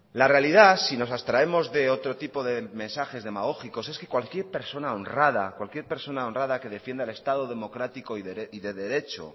la realidad si nos abstraemos de otro tipo de mensajes demagógicos es que cualquier persona honrada cualquier persona honrada que defienda el estado democrático y de derecho